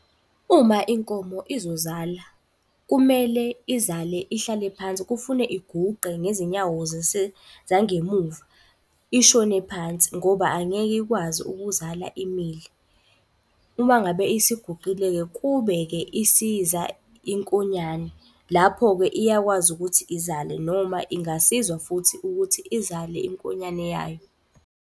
Uma inkomo izozala kumele izale ihlale phansi. Kufune iguqe ngezinyawo zangemuva ishone phansi ngoba angeke ikwazi ukuzala imile. Uma ngabe isiguqile-ke kubeke isiza inkonyane, lapho-ke iyakwazi ukuthi izale. Noma ingasizwa futhi ukuthi izale inkonyane yayo.